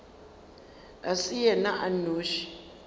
e se yena a nnoši